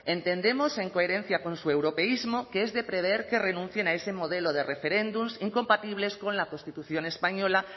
entendemos en coherencia con su europeísmo que es de prever que renuncien a ese modelo de referéndums incompatibles con la constitución española